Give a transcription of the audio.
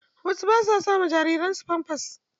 Wasu ba su sama jariran su famfas.